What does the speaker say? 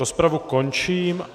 Rozpravu končím.